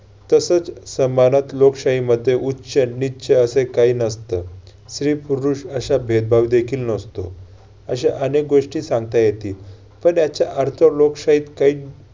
तसच समाजात लोकशाहीमध्ये उच्च नीच्च असे काही नसतं. स्त्री-पुरुष असा भेदभाव देखील नसतो. अशा अनेक गोष्टी सांगता येतील. पण याचा अर्थ लोकशाहीत काही